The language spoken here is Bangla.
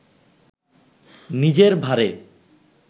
নিজের ভারে